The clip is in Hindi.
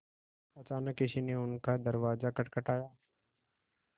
अचानक किसी ने उनका दरवाज़ा खटखटाया